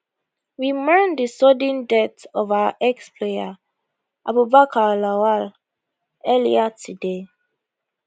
we mourn di sudden death of our explayer abubakar lawal earlier today